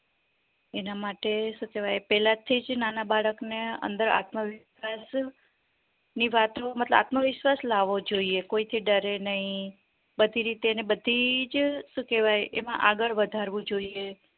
એના માટે સુકેવાય પેલાથી જ નાના બાળક ને અંદર આત્મવિશ્વાસ ની વાતો મતલબ આત્મવિશ્વાસ લાવવો જોઈએ કોઈ થી ડરે નય બધી રીતે બધીજ સુ કેવાય એમાં આગળ વધારવું જોઈએ